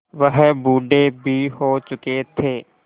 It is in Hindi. वह बूढ़े भी हो चुके थे